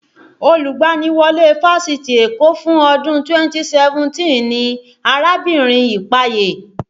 Olùgbaniwọlé Fáṣitì Èkó fún ọdún 2017 ni arábìnrin Ipaye